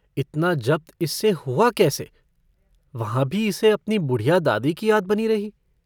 इतना जब्त इससे हुआ कैसे वहाँ भी इसे अपनी बुढ़िया दादी की याद बनी रही।